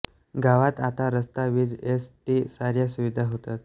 गावात आता रस्ता वीज एस टी साऱ्या सुविधा होतात